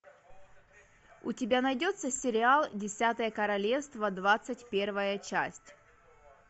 у тебя найдется сериал десятое королевство двадцать первая часть